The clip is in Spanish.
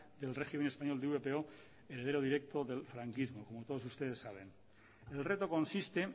del régimen español y europeo heredero directo del franquismo como todos ustedes saben el reto consiste